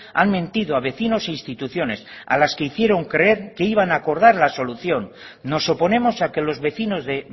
han mentido a vecinos e instituciones a las que hicieron creer que iban a acordar la solución nos oponemos a que los vecinos de